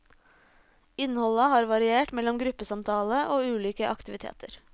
Innholdet har variert mellom gruppesamtale og ulike aktiviteter.